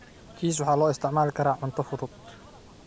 Cheese waxaa loo isticmaali karaa cunto fudud.